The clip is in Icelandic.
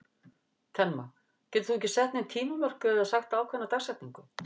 Telma: Getur þú ekki sett nein tímamörk eða sagt ákveðna dagsetningu?